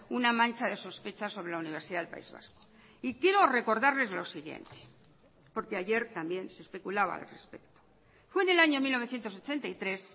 una mancha de sospechas sobre la universidad del país vasco y quiero recordarles lo siguiente porque ayer también se especulaba al respecto fue en el año mil novecientos ochenta y tres